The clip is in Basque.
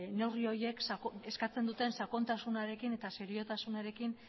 neurri horiek eskatzen duten sakontasunarekin eta seriotasunarekin